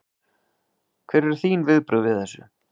Hver eru þín viðbrögð við þessu?